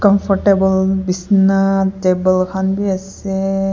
comfortable bisna table khan bi ase.